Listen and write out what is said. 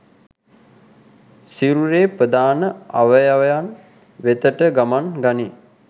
සිරුරේ ප්‍රධාන අවයවයන් වෙතට ගමන් ගනී